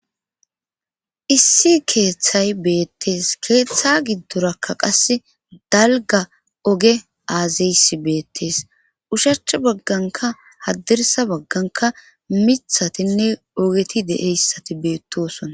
Issi keeththay beettees keeththa giddorakka qasse dalga oge aazaysi beettees ushach bagganka haddirsa bagganka mithatinne ogeti deeyssati beettosona